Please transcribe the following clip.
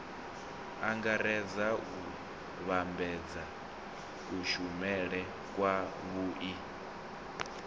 angaredza u vhambedza kushumele kwavhui